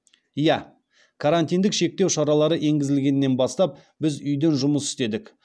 иә карантиндік шектеу шаралары енгізілгеннен бастап біз үйден жұмыс істедік